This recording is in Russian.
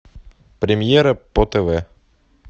премьера по тв